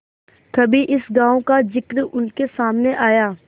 कभी इस गॉँव का जिक्र उनके सामने आया